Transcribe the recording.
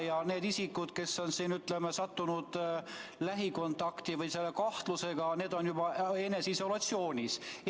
Ja need isikud, kes on sattunud lähikontakti või on selle kahtlusega, on juba eneseisolatsioonis.